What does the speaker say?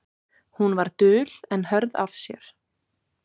Hún var dul en hörð af sér.